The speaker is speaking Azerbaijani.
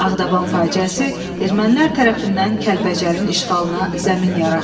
Ağdaban faciəsi ermənilər tərəfindən Kəlbəcərin işğalına zəmin yaratdı.